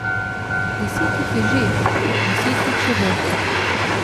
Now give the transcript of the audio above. Deset jih je že, deset jih še bo.